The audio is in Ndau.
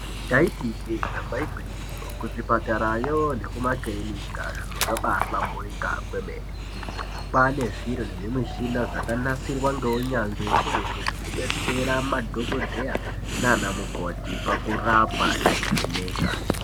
Taiti ijee damba igwinyiso. Kuzvipatarayo nekumakirinika zviro zvabahlamburika kwemene. Kwane zviro nezvimushina zvakanasirwa zvakanasirwa ngeunyanzvi ukurutu zvekubetsera madhokodheya nana mukoti pakurapa nekuvheneka.